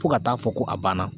Fo ka taa fɔ ko a banna